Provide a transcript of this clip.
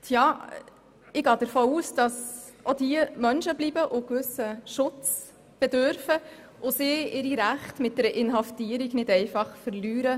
Ich gehe davon aus, dass auch diese Menschen bleiben, eines gewissen Schutzes bedürfen und ihre Rechte in einem demokratischen Rechtsstaat wie dem unseren mit einer Inhaftierung nicht einfach verlieren.